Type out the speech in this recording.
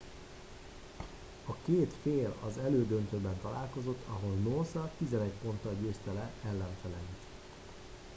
a két fél az elődöntőben találkozott ahol noosa 11 ponttal győzte le ellenfeleit